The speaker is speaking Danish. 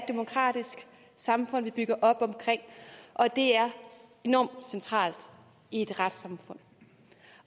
demokratisk samfund som vi bygger op om og at det er enormt centralt i et retssamfund